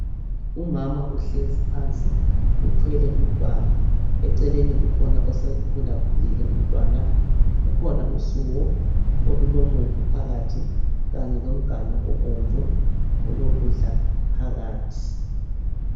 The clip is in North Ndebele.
umama uhlezi phansi uthwele umntwana eceleni kukhona osekhulakhulile umntwana kukhona usuwo olulomumbu phakathi kanye lomganu obomvu olokudla phakathi.